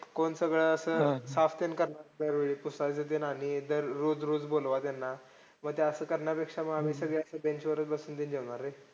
कोण सगळं असं साफ ते ण करणार दरवेळी. पुसायचं ते आणि रोज रोज बोलवा त्यांना. मग ते असं करण्यापेक्षा मग आम्ही असं सगळे bench वर चं बसून जेवणार रे.